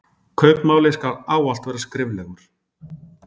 Kaupmáli skal ávallt vera skriflegur.